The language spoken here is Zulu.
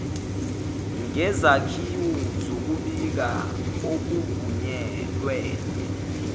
ngezakhiwo zokubika okuvunyelwene